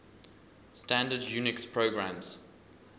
standard unix programs